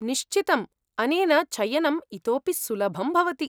निश्चितम्, अनेन चयनं इतोपि सुलभं भवति।